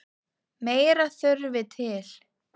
Meira þurfi til.